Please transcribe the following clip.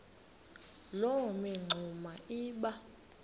loo mingxuma iba